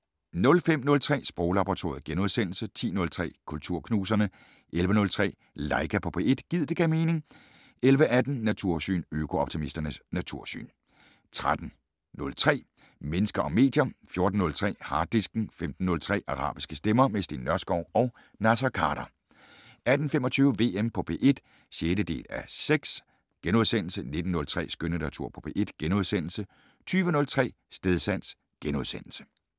05:03: Sproglaboratoriet * 10:03: Kulturknuserne 11:03: Laika på P1 - gid det gav mening 11:18: Natursyn: Øko-optimistens natursyn 13:03: Mennesker og medier 14:03: Harddisken 15:03: Arabiske stemmer - med Steen Nørskov og Naser Khader 18:25: VM på P1 (6:6)* 19:03: Skønlitteratur på P1 * 20:03: Stedsans *